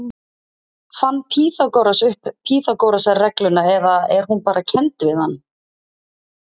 Fann Pýþagóras upp Pýþagórasarregluna eða er hún bara kennd við hann?